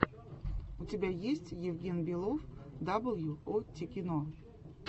у тебя есть евгенбелов дабл ю о тикино